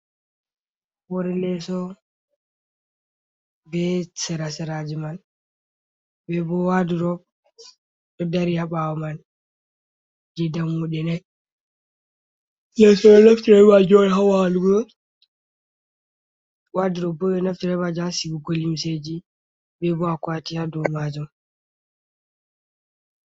Hoore leso be sera-seraji man, be bo wadrob ɗo dari haa ɓaawo man je dammuɗe nai. Leso ɓe ɗo naftira be maajum on haa walugo, wadrob bo ɓe naftira be majum haa sigugo limseji, be bo akwati haa dou maajum.